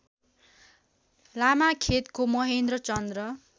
लामाखेतको Mahendra Chand